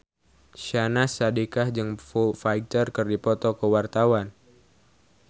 Syahnaz Sadiqah jeung Foo Fighter keur dipoto ku wartawan